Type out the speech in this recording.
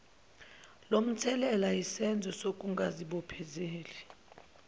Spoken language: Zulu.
lomthelela yisenzo sokungazibophezeli